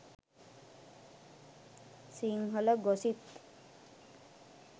sinhala gossip